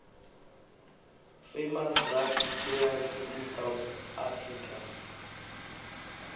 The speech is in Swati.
famous rugby players in south africa